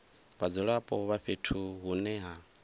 vhadzulapo vha fhethu hune ha